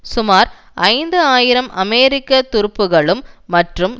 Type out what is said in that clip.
சுமார் ஐந்து ஆயிரம் அமெரிக்க துருப்புகளும் மற்றும்